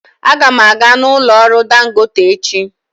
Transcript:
Aga m aga n'ụlọ ọrụ dangote echi.